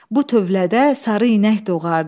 Bu tövlədə sarı inək doğardı.